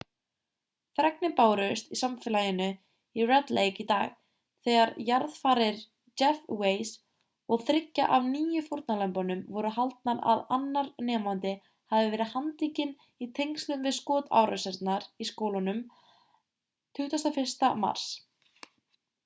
fregnir bárust samfélaginu í red lake í dag þegar jarðarfarir jeff weise og þriggja af níu fórnarlömbunum voru haldnar að annar nemandi hafi verið handtekinn í tengslum við skotárásirnar í skólanum 21. mars